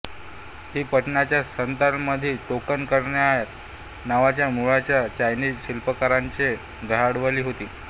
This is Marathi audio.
ती पटानीच्या सल्तनतमध्ये टोकन कायान नावाच्या मूळच्या चायनीज शिल्पकाराने गह्डवली होती